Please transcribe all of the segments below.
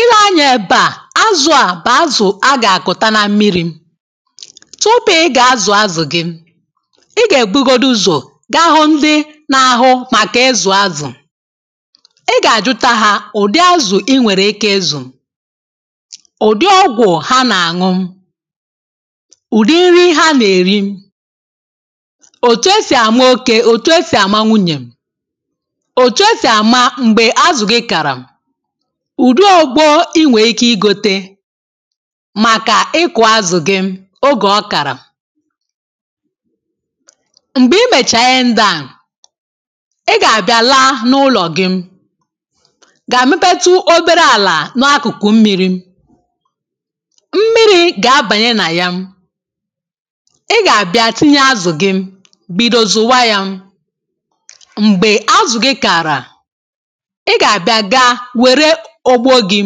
Ile anyȧ èbà a, azụ̇ à bụ̀ azụ̀ a gà-àkụ̀ta na mmiri.̇Tupu ị gà-azụ̀ azụ̀ gị, ị gà-èbugodu uzò gahụ ndị n’ahụ màkà ịzụ̀ azụ̀. ị gà-àjụta hȧ ụ̀dị azụ̀ ị nwèrè ike izù, ụ̀dị ọgwụ̀ ha nà-àṅụ, ụ̀dị nri ha nà-èri, òtù e sì àmà oke òtù e sì àma nwunyè, òtù e sì àmà mgbè azụ̀ gị kàrà, ùdị ogbo inwė ike igote, màkà ịkụ̀ azụ̀ gị ogè ọ kàrà. Mgbè i mèchààrà Ihe ndị à, ị gà àbịa laa n’ụlọ̀ gị, gà à mepetu obere àlà n’akụ̀kụ mmi̇ri,̇ mmi̇ri̇ gà abànye nà ya, ị gà àbịa tinye azụ̀ gị, bido zùwa yȧ. Mgbè azụ̀ gị kààrà. ị gà àbịa gaa wère ògbò gị,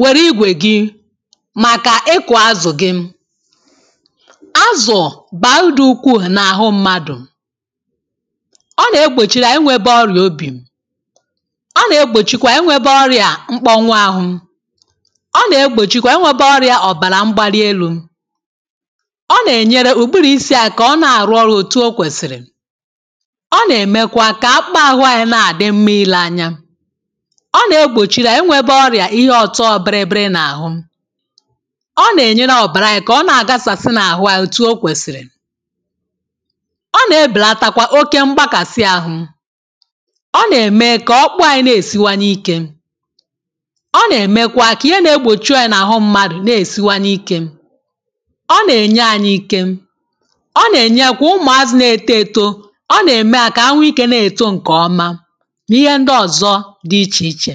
wère igwè gị, màkà ịkụ̀ azụ̀ gị. Azụ̀ bàà udù ukwu n’àhụ mmadụ̀, ọ nà-egbòchìrì inwėbė ọrịà obì, ọ nà-egbòchikwa inwėbė ọrịà mkpọnwụ ahụ, ọ nà-egbòchikwa inwėbė ọrịà ọ̀bàrà mgbali elu,̇ ọ nà-ènyere ùburu isi̇ akà kà ọ na-àrụ ọrụ̇ òtù o kwèsìrì, ọ nà-èmekwa kà akpa ahụ̇ anyị na-àdị mmȧ ile anya, ọ nà-egbòchi lȧ enwėbė ọrịà ihe ọ̀tọ bịrị bịrị n’àhụ, ọ nà-ènyere ọ̀bàranyị̀ kà ọ na-àgasà sị n’àhụ ànyi ètù o kwèsìrì, ọ nà-ebèlàtakwa oke mgbakàsị àhụ, ọ nà-ème kà ọkpụkpụ anyị̇ na-èsiwanye ikė, ọ nà-ème kwa kà ihe na-egbòchu ànyị n’àhụ mmadụ̀ na-èsiwanye ike, ọ nà-enye anyị ike, ọ nà-ènye kwa ụmụ̀ azi na-eto eto ọ nà-ème hà kà hà̇nwe ikė na-èto ǹkè ọma na Ihe ndị ọzo di ichè ichè.